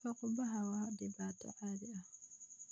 Fuuqbaxa waa dhibaato caadi ah.